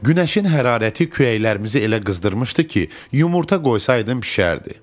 Günəşin hərarəti kürəklərimizi elə qızdırmışdı ki, yumurta qoysaydım bişərdi.